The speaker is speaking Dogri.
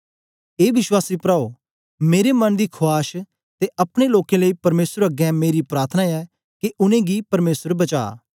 ए विश्वासी प्राओ मेरे मन दी खुआश ते अपने लोकें लेई परमेसर अगें मेरी प्रार्थना ऐ के उनेंगी परमेसर बचा